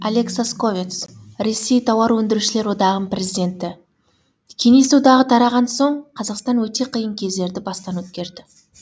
олег сосковец ресей тауар өндірушілер одағының президенті кеңес одағы тараған соң қазақстан өте қиын кездерді бастан өткерді